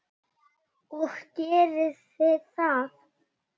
Og gerið þið það?